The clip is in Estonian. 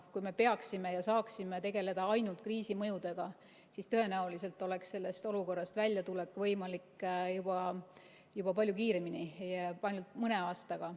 Kui me peaksime tegelema ja saaksime tegeleda ainult kriisi mõjudega, siis tõenäoliselt oleks sellest olukorrast väljatulek võimalik palju kiiremini, ainult mõne aastaga.